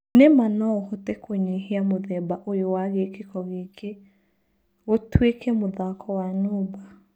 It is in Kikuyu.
Nĩma no ũhote kũnyihia mũthemba ũyũwa gĩkĩko gĩkĩ gĩtuĩke mũthako wa numba.